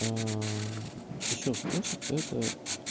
ещё способ это